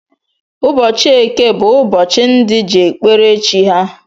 Ụbọchị eke bú ụbọchị ndị ji ekpere chi ha.